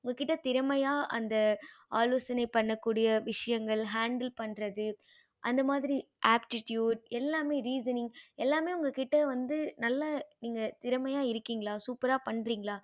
உங்க கிட்ட திறமைய அந்த ஆலோசனை பண்ண கூடிய விஷயங்கள் untill பன்றது அந்த மாறி aptitude எல்லாமே reasoning எல்லாமே உங்க கிட்ட வந்து நல்ல திறமைய இருக்கீங்களா சூப்பரா பன்றிங்கள